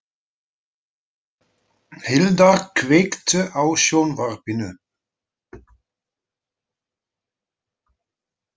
Hildar, kveiktu á sjónvarpinu.